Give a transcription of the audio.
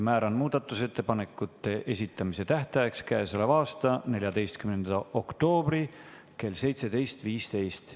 Määran muudatusettepanekute esitamise tähtajaks k.a 14. oktoobri kell 17.15.